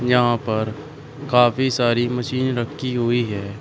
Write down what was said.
यहां पर काफी सारी मशीन रखी हुई है।